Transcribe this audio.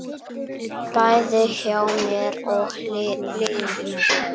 Bæði hjá mér og liðinu.